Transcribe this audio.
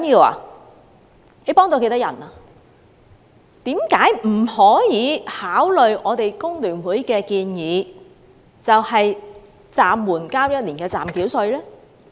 為何政府不考慮工聯會的建議，讓納稅人暫緩繳交1年暫繳稅？